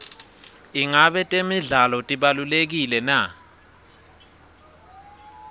ingabe temidlalo tibalulekile na